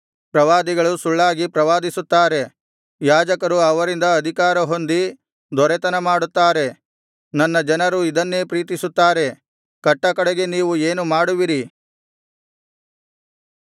ಪ್ರವಾದಿಗಳು ಸುಳ್ಳಾಗಿ ಪ್ರವಾದಿಸುತ್ತಾರೆ ಯಾಜಕರು ಅವರಿಂದ ಅಧಿಕಾರ ಹೊಂದಿ ದೊರೆತನ ಮಾಡುತ್ತಾರೆ ನನ್ನ ಜನರು ಇದನ್ನೇ ಪ್ರೀತಿಸುತ್ತಾರೆ ಕಟ್ಟಕಡೆಗೆ ನೀವು ಏನು ಮಾಡುವಿರಿ